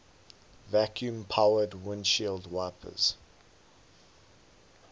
vacuum powered windshield wipers